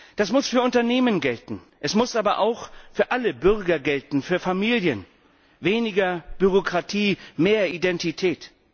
Das muss für Unternehmen gelten, es muss aber auch für alle Bürger gelten, für Familien Weniger Bürokratie, mehr Identität.